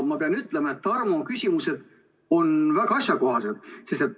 Ma pean ütlema, et arvuküsimused on väga asjakohased.